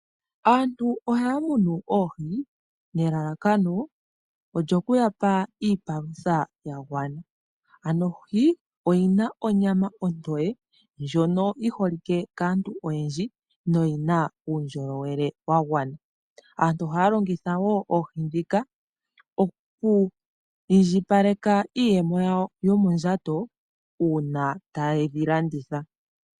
Aantu ohaa munu oohi, nelalakano, olyo ku yapa iipalutha yagwana. Ano ohi oyi na onyama ontoye, ndyono yi holike kaantu oyendji noyi na uundjolowele wa gwana. Aantu ohaa longitha wo oohi ndhika oku indjipaleka iiyemo yawo yomondjato uuna taye dhi landitha.